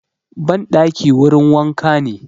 Ban ɗaki wurin wanka ne